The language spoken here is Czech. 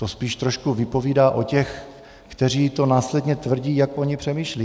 To spíš trošku vypovídá o těch, kteří to následně tvrdí, jak oni přemýšlejí.